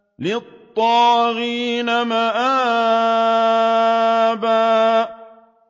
لِّلطَّاغِينَ مَآبًا